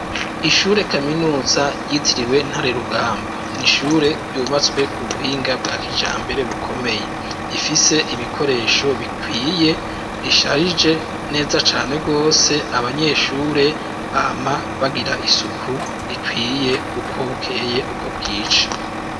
Ishure kaminuza, yitiriwe Ntare Rugamba, ni ishure ryubatswe ku buhinga bwa kijambere, bukomeye; rifise ibikoresho bikwiye, risharije neza cane rwose, abanyeshure bama bagira isuku, rikwiye, uko bukeye uko bwije.